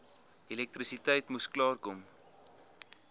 elektrisiteit moes klaarkom